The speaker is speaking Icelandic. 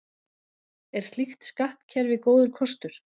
Er slíkt skattkerfi góður kostur?